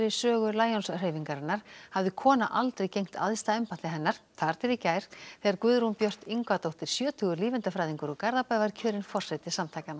sögu Lions hreyfingarinnar hafði kona aldrei gegnt æðsta embætti hennar þar til í gær þegar Guðrún Björt Yngvadóttir sjötugur lífeindafræðingur úr Garðabæ var kjörin forseti samtakanna